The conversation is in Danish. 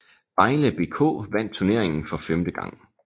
Vejle BK vandt turneringen for femte gang